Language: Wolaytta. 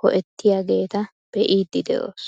ho"ettiyaageta be"iidi de'oos.